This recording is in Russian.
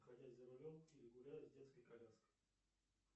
находясь за рулем или гуляя с детской коляской